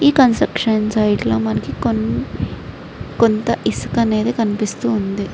ఈ construction site లో మనకి కొన్ కొంత ఇసుక అనేది కనిపిస్తుంది.